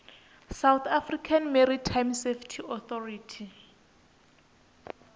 south african maritime safety authority